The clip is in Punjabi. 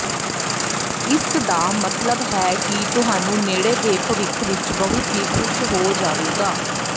ਇਸ ਦਾ ਮਤਲਬ ਹੈ ਕਿ ਤੁਹਾਨੂੰ ਨੇੜੇ ਦੇ ਭਵਿੱਖ ਵਿੱਚ ਬਹੁਤ ਹੀ ਖੁਸ਼ ਹੋ ਜਾਵੇਗਾ